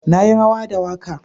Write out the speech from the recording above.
Na yi rawa da waka.